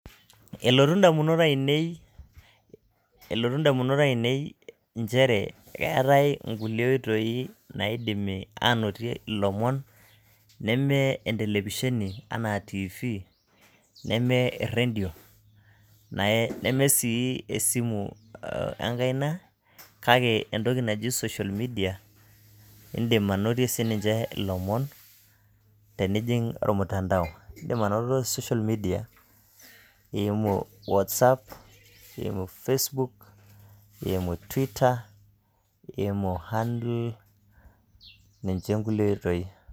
elotu indamunot aiinei inchere keetae kuli oitoi naaidimi anotie ilomon neme entelepisheni anaa tv neme eredio neme sii esimu enkaina kake entoki naji social media indim anotie sii ninje ilomon tenijing' ormutandao. indim anoto social media iimu whatsapp iimu facebook iimu twitter iimu handle ninje inkulie oitoi.